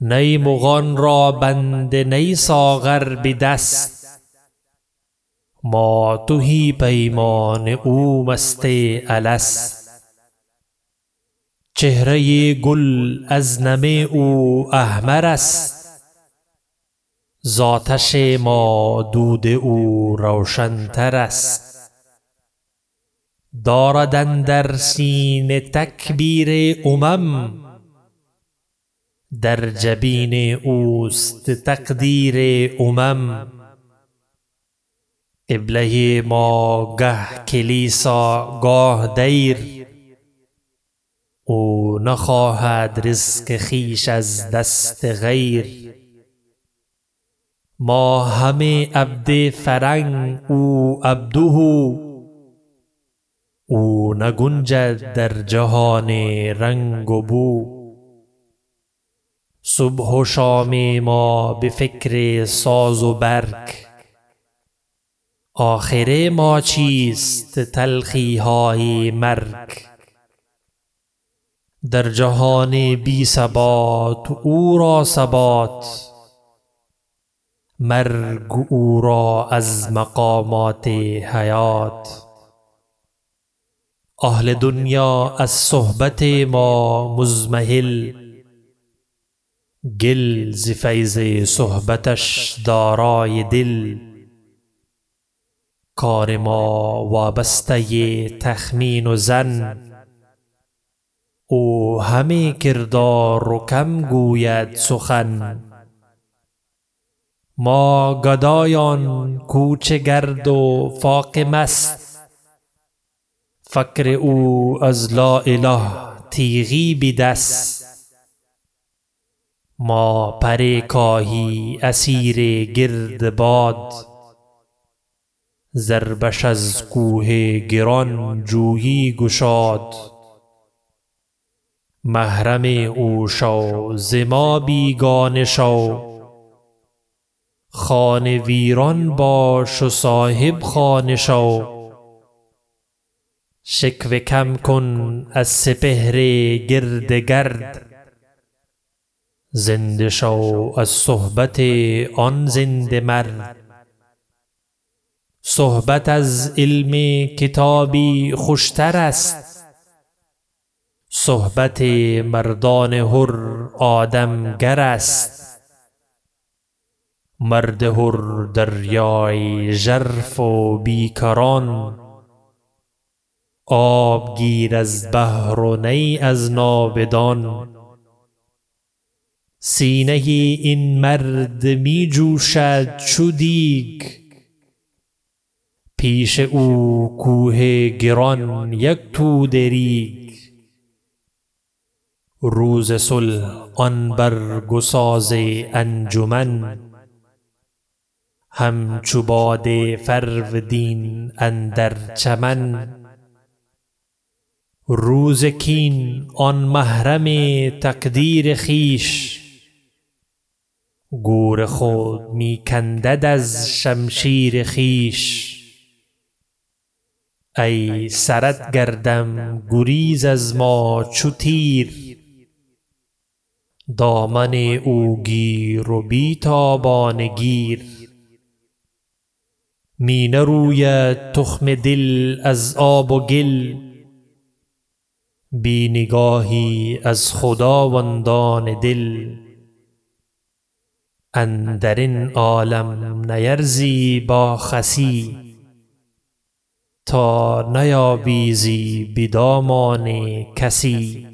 نی مغان را بنده نی ساغر به دست ما تهی پیمانه او مست الست چهره گل از نم او احمر است ز آتش ما دود او روشن تر است دارد اندر سینه تکبیر امم در جبین اوست تقدیر امم قبله ما گه کلیسا گاه دیر او نخواهد رزق خویش از دست غیر ما همه عبد فرنگ او عبده او نگنجد در جهان رنگ و بو صبح و شام ما به فکر ساز و برگ آخر ما چیست تلخی های مرگ در جهان بی ثبات او را ثبات مرگ او را از مقامات حیات اهل دل از صحبت ما مضمحل گل ز فیض صحبتش دارای دل کار ما وابسته تخمین و ظن او همه کردار و کم گوید سخن ما گدایان کوچه گرد و فاقه مست فقر او از لااله تیغی به دست ما پر کاهی اسیر گرد باد ضربش از کوه گران جویی گشاد محرم او شو ز ما بیگانه شو خانه ویران باش و صاحب خانه شو شکوه کم کن از سپهر گرد گرد زنده شو از صحبت آن زنده مرد صحبت از علم کتابی خوش تر است صحبت مردان حر آدم گر است مرد حر دریای ژرف و بیکران آب گیر از بحر و نیٖ از ناودان سینه این مرد می جوشد چو دیگ پیش او کوه گران یک توده ریگ روز صلح آن برگ و ساز انجمن هم چو باد فرودین اندر چمن روز کین آن محرم تقدیر خویش گور خود می کندد از شمشیر خویش ای سرت گردم گریز از ما چو تیر دامن او گیر و بی تابانه گیر می نروید تخم دل از آب و گل بی نگاهی از خداوندان دل اندر این عالم نیارزی با خسی تا نیاویزی بدامان کسی